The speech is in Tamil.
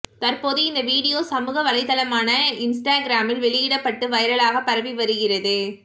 தற்போது இந்த வீடியோ சமூகவளைதளமான இன்ஸ்டாகிராமில் வெளியிடப்பட்டு வைரலாக பரவி வருகிறது